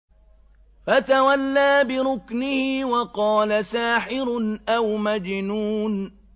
فَتَوَلَّىٰ بِرُكْنِهِ وَقَالَ سَاحِرٌ أَوْ مَجْنُونٌ